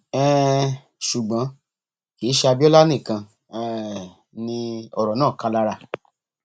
um ṣùgbọn kì í ṣe abiola nìkan um ni ọrọ náà ká lára